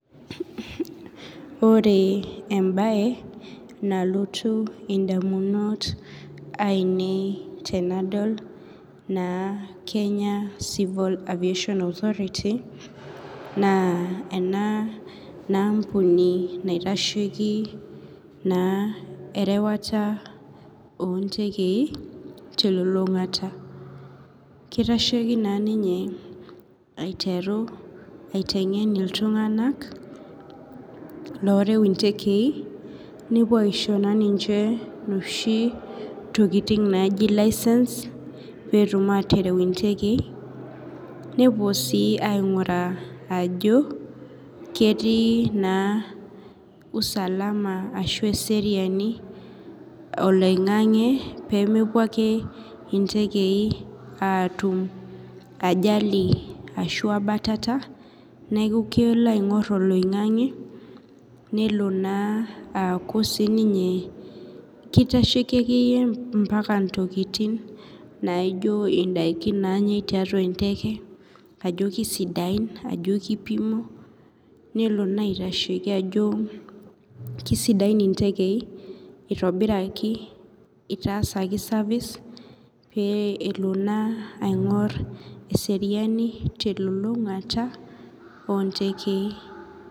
Ore ebaye nalotu indaminot ainei tenadol(Kenya civil aviation authority) naa enaambuni naitasheki na erewata oontekei telulungata, kitasheiki naninye aiteru aitengen intunganak oreu intekei, nepuo aisho ninche inoshi tokitin naaji (licence)petum atereu intekei nepuo sii ainguraa ajo ketii (usalama) Ashu eseeriani oloingange peemepuo ake intekei atum (ajali) ,ashu abatata neeku kelo aingoru oloingange naa kitasheiki mpaka itukin nijo indaiki naanyae tiatuaenteke ajo kesidain ajo kipimo nelo naa aitasheki ajo kesidain intekei kitasaki( service) ,kelo naa aingor eseeriani telulungata oontekei